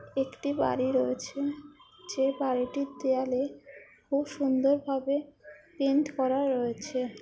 একটি বাড়ি রয়েছে যে বাড়িটির দেওয়ালে খুব সুন্দরভাবে পেন্ট করা রয়েছে।